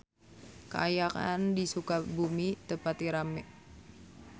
Kaayaan di Sukabumi teu pati rame